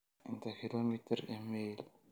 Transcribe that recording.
inta kiiloomitir ee mayl